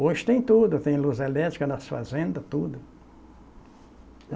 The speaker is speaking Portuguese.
Hoje tem tudo, tem luz elétrica nas fazendas, tudo.